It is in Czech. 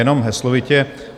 Jenom heslovitě.